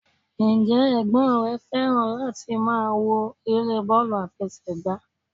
Ǹ jẹ́ ẹ̀gbọ́n rè fẹ́ràn láti máa wo eré bọ́ọ̀lù àfẹsẹ̀gbá?